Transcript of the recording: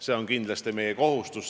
See on kindlasti meie kohustus.